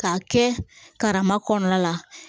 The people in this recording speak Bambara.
K'a kɛ karama kɔnɔna la